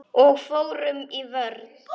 Og fórum í vörn.